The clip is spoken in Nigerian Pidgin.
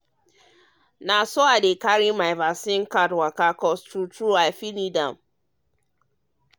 na um so i dey um carry my vaccine card waka true true coz i fit need am